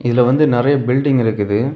இதுல வந்து நெறைய பில்டிங் இருக்குது.